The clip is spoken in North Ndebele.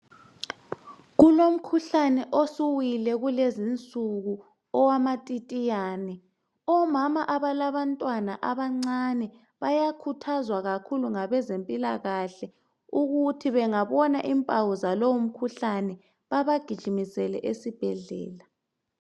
Kulomkhuhlane osuwile kulezinsuku owamatitiyane omama labalabantwana abancane bayakhuthazwa kakhulu ngabezempilakahle ukuthi bengabona impawu zalowo mkhuhlane babagijimisele esibhedlela.